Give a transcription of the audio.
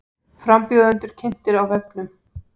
Frambjóðendur kynntir á vefnum